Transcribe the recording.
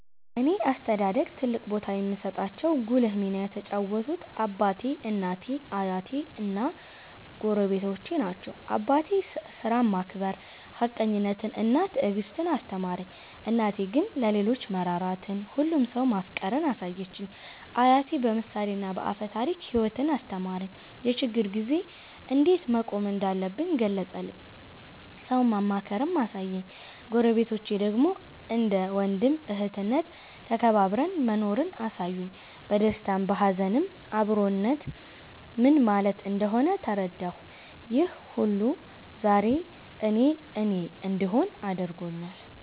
በእኔ አስተዳደግ ትልቅ ቦታ የሚሰጣቸው ጉልህ ሚና የተጫወቱት አባቴ፣ እናቴ፣ አያቴ እና ጎረቤቶቼ ናቸው። አባቴ ሥራን ማክበር፣ ሀቀኝነትን እና ትዕግስትን አስተማረኝ። እናቴ ግን ለሌሎች መራራትን፣ ሁሉንም ሰው ማፍቀርን አሳየችኝ። አያቴ በምሳሌና በአፈ ታሪክ ሕይወትን አስተማረኝ፤ የችግር ጊዜ እንዴት መቆም እንዳለብኝ ገለጸልኝ፤ ሰውን ማክበርንም አሳየኝ። ጎረቤቶቼ ደግሞ እንደ ወንድም እህትነት ተከባብረን መኖርን አሳዩኝ፤ በደስታም በሀዘንም አብሮነት ምን ማለት እንደሆነ ተረዳሁ። ይህ ሁሉ ዛሬ እኔ እኔ እንድሆን አድርጎኛል።